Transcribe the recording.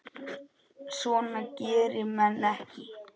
Svona gera menn ekki